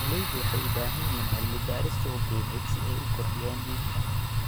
Beeraleydu waxay u baahan yihiin cilmi-baaris suuq-geyneed si ay u kordhiyaan iibka.